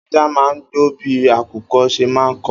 Ajá má ń gbó bí àkùko ṣe má ń ko